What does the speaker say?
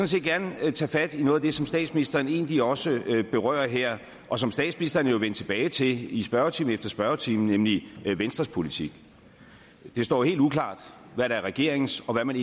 set gerne tage fat i noget af det som statsministeren egentlig også berører her og som statsministeren jo er vendt tilbage til i spørgetime efter spørgetime nemlig venstres politik det står helt uklart hvad der er regeringens og hvad man